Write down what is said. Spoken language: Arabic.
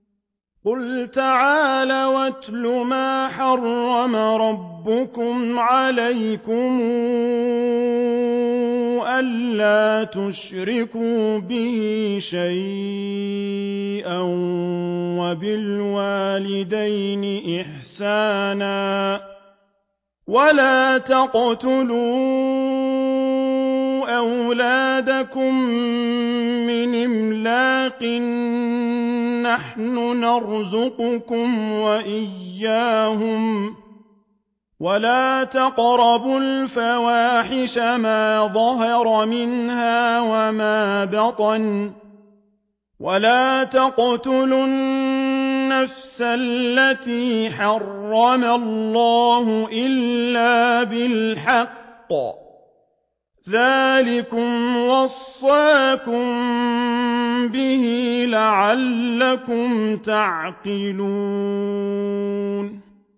۞ قُلْ تَعَالَوْا أَتْلُ مَا حَرَّمَ رَبُّكُمْ عَلَيْكُمْ ۖ أَلَّا تُشْرِكُوا بِهِ شَيْئًا ۖ وَبِالْوَالِدَيْنِ إِحْسَانًا ۖ وَلَا تَقْتُلُوا أَوْلَادَكُم مِّنْ إِمْلَاقٍ ۖ نَّحْنُ نَرْزُقُكُمْ وَإِيَّاهُمْ ۖ وَلَا تَقْرَبُوا الْفَوَاحِشَ مَا ظَهَرَ مِنْهَا وَمَا بَطَنَ ۖ وَلَا تَقْتُلُوا النَّفْسَ الَّتِي حَرَّمَ اللَّهُ إِلَّا بِالْحَقِّ ۚ ذَٰلِكُمْ وَصَّاكُم بِهِ لَعَلَّكُمْ تَعْقِلُونَ